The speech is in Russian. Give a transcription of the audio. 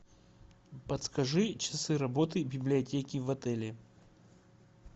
подскажи часы работы библиотеки в отеле